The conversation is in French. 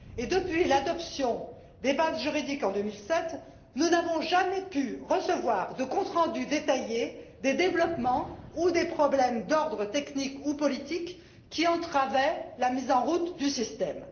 Et depuis l'adoption des bases juridiques en 2007, nous n'avons jamais pu recevoir de compte rendu détaillé des développements ou des problèmes d'ordre technique ou politique qui entravaient la mise en route du système.